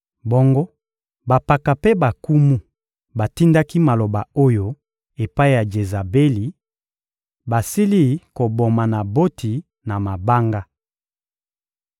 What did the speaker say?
Bongo bampaka mpe bankumu batindaki maloba oyo epai ya Jezabeli: «Basili koboma Naboti na mabanga.»